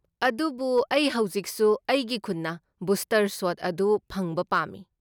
ꯑꯗꯨꯕꯨ ꯑꯩ ꯍꯧꯖꯤꯛꯁꯨ ꯑꯩꯒꯤ ꯈꯨꯟꯅ ꯕꯨꯁꯇꯔ ꯁꯣꯠ ꯑꯗꯨ ꯐꯪꯕ ꯄꯥꯝꯃꯤ꯫